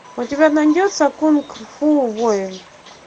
у тебя найдется кунг фу воин